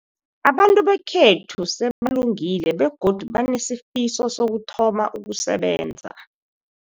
Abantu bekhethu sebalungile begodu banesifiso sokuthoma ukusebenza.